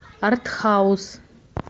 артхаус